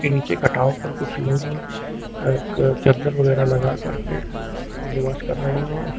नीचे कटाव पर कुछ लोग चद्दर वगैरह लगा कर के निवास कर रहे हैं।